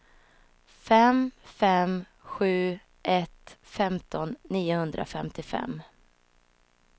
fem fem sju ett femton niohundrafemtiofem